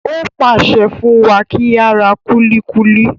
Ó pàṣẹ fún wa kí á ra kúlíkúlí.